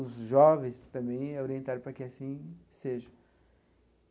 Os jovens também é orientado para que assim seja.